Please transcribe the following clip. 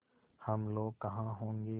हम लोग कहाँ होंगे